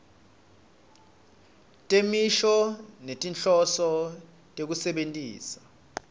temisho ngetinhloso tekusebentisa